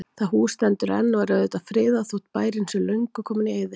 Það hús stendur enn og er auðvitað friðað, þótt bærinn sé löngu kominn í eyði.